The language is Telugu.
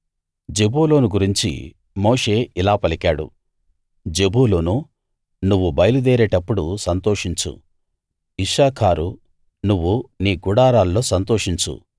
జెబూలూను గురించి మోషే ఇలా పలికాడు జెబూలూనూ నువ్వు బయలు దేరేటప్పుడు సంతోషించు ఇశ్శాఖారూ నువ్వు నీ గుడారాల్లో సంతోషించు